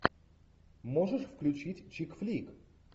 можешь включить чик флик